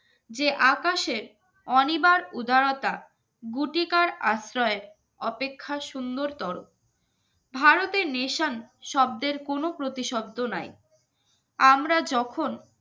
যে আকাশের অনিবার উদারতা গুটিকার আশ্রয় অপেক্ষা সুন্দরতর ভারতের নেশান শব্দের কোনো প্রতিশব্দ নাই আমরা যখন